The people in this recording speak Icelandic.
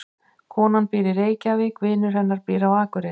Konan býr í Reykjavík. Vinur hennar býr á Akureyri.